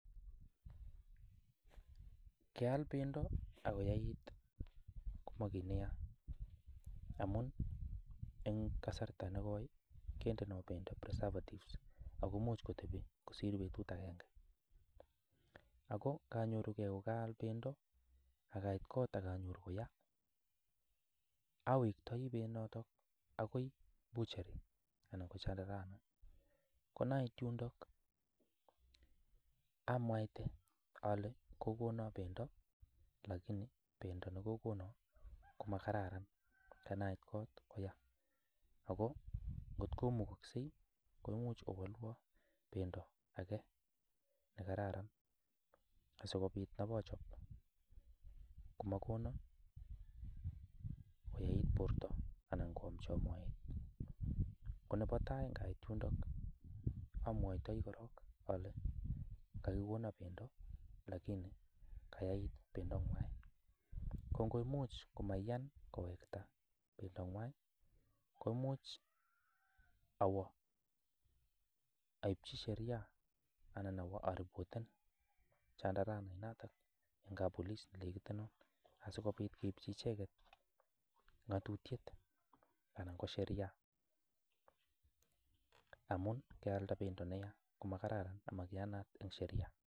Keal bendo ak koyait komagit neyai amun en kasarta nekoi kindo bendo preservatives ago imuch kotebi kosir betut agenge. Ago kanyoru ge kogaal bendo ak ait kot ak anyoru koya awektoi benyoto agoi butchery anan ko Chandarana. Ko ye ait yundo amwaite ole kogonon bendo, lakini bendo nekogonon komakararan kanai kot ko ya, ago ngotko mukokse koimuch owalwon ogono bendo age nekararan asikobit abochob komakono koyait borto anan koamchon moet. Ko nebo tai ngait yundok amwaitoi korong ale kogonon bendo lakini kayait bendonywa. Ngo komuch kamaiyan kowekta bendoywan komuch awo aibchi sheria anan awo aripoten Chandarana inatak en kappolis nenegit asikobit keiipchi icheget ng'atutyet anan ko sheria amun kaalda bendo nemakararan komakararan amaiyanat en sheria.